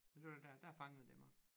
Det var dér dér fangede det mig